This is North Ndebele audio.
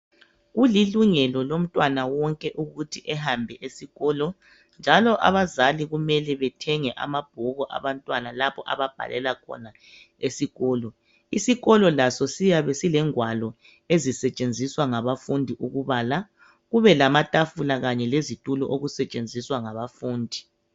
Kulilungelo lomntwana wonke ukuthi ehambe esikolo njalo abazali kumele bethenge amabhuku abantwana labo ababhalela khona esikolo. Isikolo laso siyabe silengwalo ezisetshenziswa ngabafundi ukubala. Kube lamatafula kanye lezitulo okusetshenziswa ngabafundi.